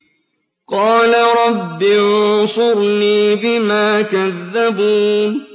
قَالَ رَبِّ انصُرْنِي بِمَا كَذَّبُونِ